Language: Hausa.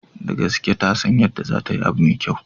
Da gaske, tasan yadda zatayi abu mai kyau.